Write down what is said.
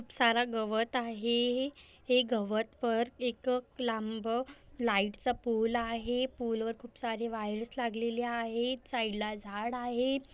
सारा गवत आहे हे हे गवतवर एक लांब लाइटचा पूल आहे पुल वर खूप सारे वायर्स लागलेले आहेत साइडला झाड आहेत.